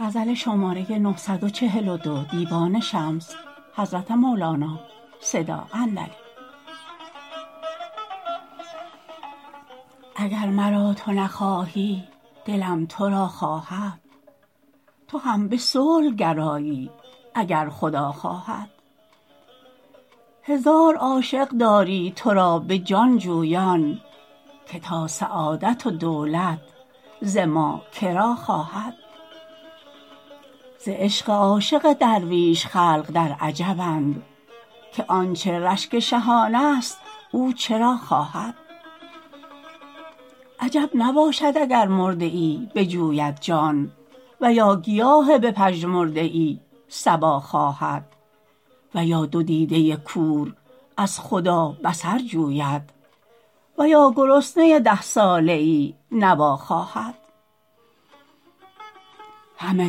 اگر مرا تو نخواهی دلم تو را خواهد تو هم به صلح گرایی اگر خدا خواهد هزار عاشق داری تو را به جان جویان که تا سعادت و دولت ز ما که را خواهد ز عشق عاشق درویش خلق در عجبند که آنچ رشک شهانست او چرا خواهد عجب نباشد اگر مرده ای بجوید جان و یا گیاه بپژمرده ای صبا خواهد و یا دو دیده کور از خدا بصر جوید و یا گرسنه ده ساله ای نوا خواهد همه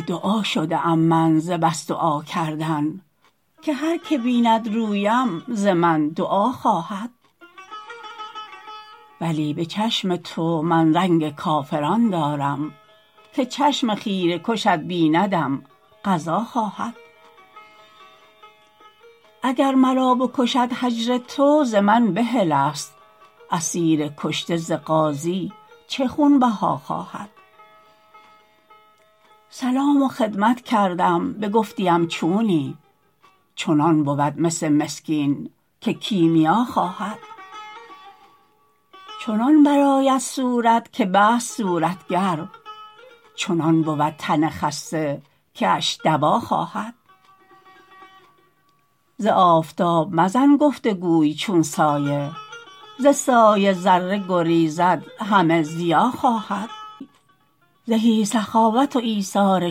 دعا شده ام من ز بس دعا کردن که هر که بیند رویم ز من دعا خواهد ولی به چشم تو من رنگ کافران دارم که چشم خیره کشت بیندم غزا خواهد اگر مرا نکشد هجر تو ز من بحلست اسیر کشته ز غازی چه خونبها خواهد سلام و خدمت کردم بگفتیم چونی چنان بود مس مسکین که کیمیا خواهد چنان برآید صورت که بست صورتگر چنان بود تن خسته کیش دوا خواهد ز آفتاب مزن گفت و گوی چون سایه ز سایه ذره گریزد همه ضیا خواهد زهی سخاوت و ایثار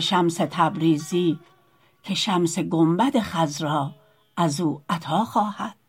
شمس تبریزی که شمس گنبد خضرا از او عطا خواهد